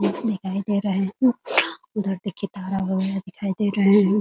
बस दिखाई दे रहे हैं उधर देखिये दिखाई दे रहे हैं ।